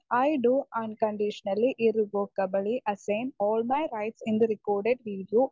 speaker 1 I to unconditionally irrevocably assign all my rights in the record video